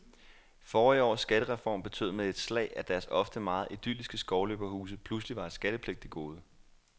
Forrige års skattereform betød med et slag, at deres ofte meget idylliske skovløberhuse pludselig var et skattepligtigt gode.